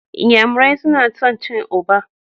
N'yamarai suna son cin ugba.